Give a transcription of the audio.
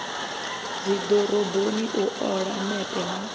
dzidoroboni u ola mepe na